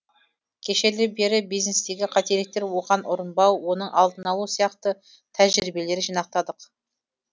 кешелі бері бизнестегі қателіктер оған ұрынбау оның алдын алу сияқты тәжірибелер жинақтадық